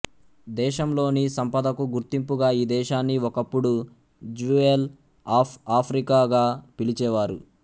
దేశం లోని సంపదకు గుర్తింపుగా ఈ దేశాన్ని ఒకప్పుడు జ్యువెల్ ఆఫ్ ఆఫ్రికా గా పిలిచేవారు